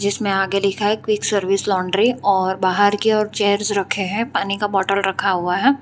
इसमें आगे लिखा है क्विक सर्विस लॉन्ड्री और बाहर के ओर चेयर्स रखे है पानी का बॉटल रखा हुआ है।